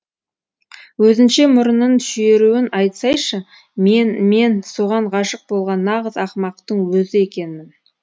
өзінше мұрынын шүйіруін айтсайшы мен мен соған ғашық болған нағыз ақымақтың өзі екенмін